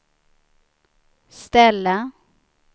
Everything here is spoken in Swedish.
ställa